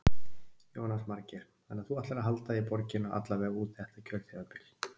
Jónas Margeir: Þannig að þú ætlar að halda í borgina alla vega út þetta kjörtímabil?